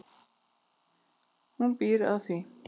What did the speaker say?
Hún býr að því.